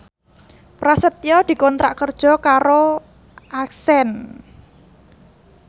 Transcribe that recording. Prasetyo dikontrak kerja karo Accent